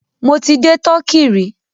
Mọ ti dé Turkey rí.